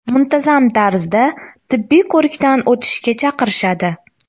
Muntazam tarzda tibbiy ko‘rikdan o‘tishga chaqirishadi”.